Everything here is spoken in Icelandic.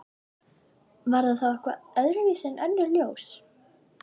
Var það þá eitthvað öðruvísi en önnur ljós?